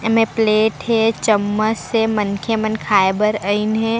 एमे प्लेट हे चम्मच से मन के मन खाए बर आइन्हे।